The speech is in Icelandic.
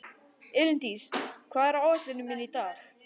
Elíndís, hvað er á áætluninni minni í dag?